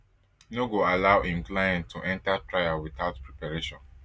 no go allow im client to to enter trial witout preparation